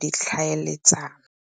ditlhaeletsano.